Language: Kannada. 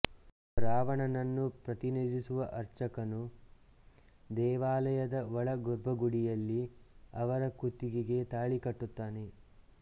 ಅರಾವಣನನ್ನು ಪ್ರತಿನಿಧಿಸುವ ಅರ್ಚಕನು ದೇವಾಲಯದ ಒಳ ಗರ್ಭಗುಡಿಯಲ್ಲಿ ಅವರ ಕುತ್ತಿಗೆಗೆ ತಾಳಿ ಕಟ್ಟುತ್ತಾನೆ